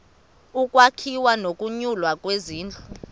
ukwakhiwa nokunyulwa kwezindlu